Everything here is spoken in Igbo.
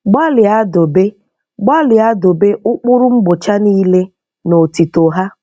Gbalịa dobe Gbalịa dobe ụkpụrụ mgbocha niile na otuto ha.